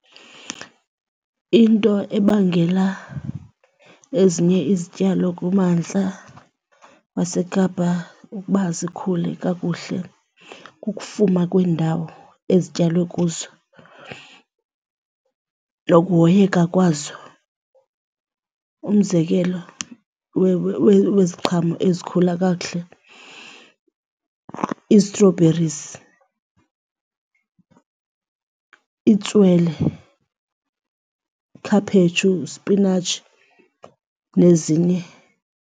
Into ebangela ezinye izityalo kumantla waseKapa ukuba zikhule kakuhle kukufuma kwiindawo ezityalwe kuzo nokuhoyeka kwazo. Umzekelo weziqhamo ezikhula kakuhle i-strawberries, itswele, ikhaphetshu, isipinatshi nezinye.